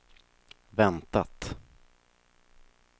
väntat